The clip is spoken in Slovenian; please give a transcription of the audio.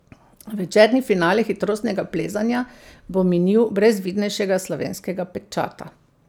Večerni finale hitrostnega plezanja bo minil brez vidnejšega slovenskega pečata.